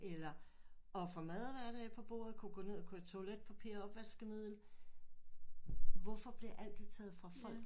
Eller og få mad og hverdag på bordet kunne gå ned og købe toiletpapir og opvaskemiddel hvorfor bliver alt det taget fra folk